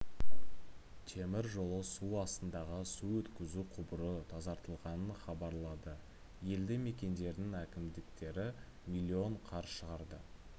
темір жолы астындағы су өткізу құбыры тазартылғанын хабарлады елді мекендердің әкімдіктері млн қар шығарды